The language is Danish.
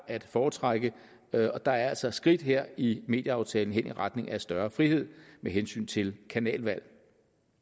at foretrække og der er altså skridt her i medieaftalen i retning af større frihed med hensyn til kanalvalg